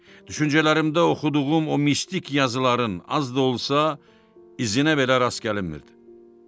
Düşüncələrimdə oxuduğum o mistik yazıların az da olsa izinə belə rast gəlinmirdi.